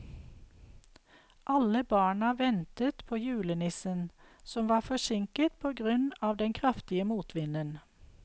Alle barna ventet på julenissen, som var forsinket på grunn av den kraftige motvinden.